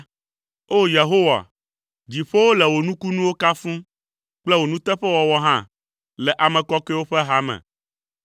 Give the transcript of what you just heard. O! Yehowa, dziƒowo le wò nukunuwo kafum, kple wò nuteƒewɔwɔ hã le ame kɔkɔewo ƒe hame.